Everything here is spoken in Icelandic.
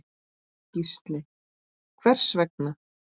Gísli: Hvers vegna?